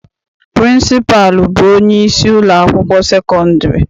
Pịrịnsịpalụ bụ onyeisi ụlọakwụkwọ sekọndịrị.